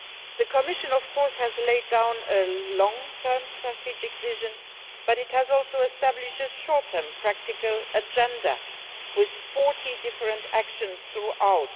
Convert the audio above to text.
The Commission of course has laid down a long term strategic vision, but it has also established a short term practical agenda, with 40 different actions throughout.